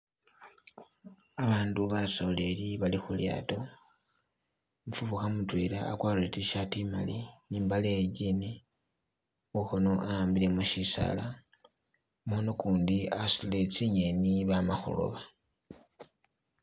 Abandu basoleli bali khu lyato, umufukha mutwela akwarire I tshirt imali ne imbale iye Jean, mukhono awambile mo shisala. Mumukhono ukundi asutile tsi ngeni baama khulooba